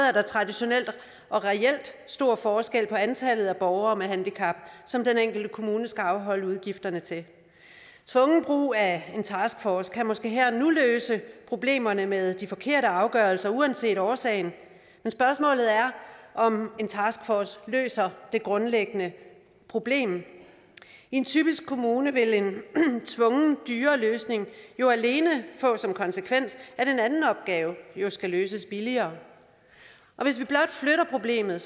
er der traditionelt og reelt stor forskel på antallet af borgere med handicap som den enkelte kommune skal afholde udgifterne til tvungen brug af en taskforce kan måske her og nu løse problemerne med de forkerte afgørelser uanset årsagen men spørgsmålet er om en taskforce løser det grundlæggende problem i en typisk kommune vil en tvungen dyrere løsning jo alene få som konsekvens at en anden opgave skal løses billigere og hvis vi blot flytter problemet